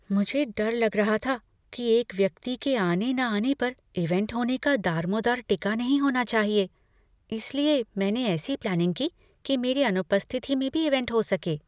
मुझे डर लग रहा था कि एक व्यक्ति की आने, न आने पर इवेंट होने का दारमोदार टिका नहीं होना चाहिए, इसलिए मैंने ऐसी प्लैनिंग की कि मेरी अनुपस्थिति में भी इवेंट हो सके।